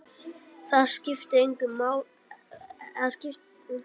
Það skiptir engu, elskan mín.